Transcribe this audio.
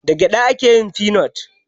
Da gyada ake yin feanut.